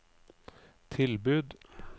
tilbud